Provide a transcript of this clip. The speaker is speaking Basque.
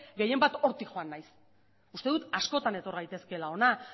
gehien bat hortik joan naiz uste dut askotan etor gaitezkeela hona